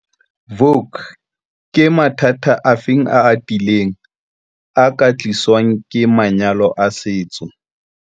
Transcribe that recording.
Vuk- Ke mathata afe a atileng a ka tliswang ke manyalo a setso?